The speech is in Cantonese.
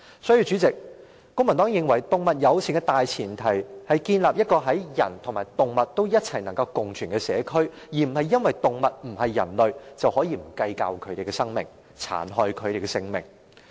代理主席，公民黨認為，動物友善政策的大前提是建立人類和動物能夠共存的社區，而並非因為動物不是人類，便不計較牠們的生命，殘害牠們的性命。